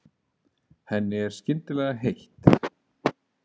Henni er skyndilega heitt.